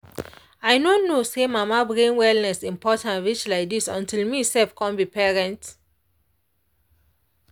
i no know say mama brain wellness important reach like dis until me sef come be parent.